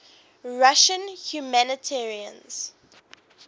russian humanitarians